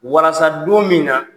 Walasa don min na